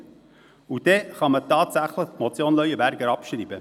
Und dann kann man die Motion Leuenberger tatsächlich abschreiben.